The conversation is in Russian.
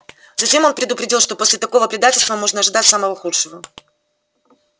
затем он предупредил что после такого предательства можно ожидать самого худшего